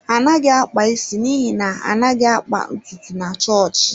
Ọ naghị akpa isi n’ihi na ha anaghị akpa ntutu na chọọchị.